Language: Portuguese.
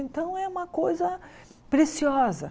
Então, é uma coisa preciosa.